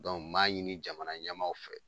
m'a ɲini jamana ɲɛmaaw fɛ